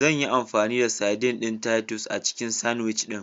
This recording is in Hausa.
Zanyi amfani da saidin ɗin Titus a cikin sandwich ɗin.